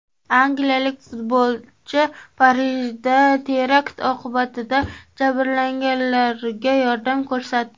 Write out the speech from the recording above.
Angliyalik futbolchi Parijda terakt oqibatida jabrlanganlarga yordam ko‘rsatdi.